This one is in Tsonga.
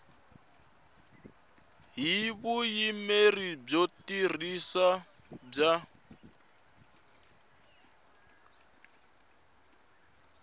hi vuyimeri byo tiyisisa bya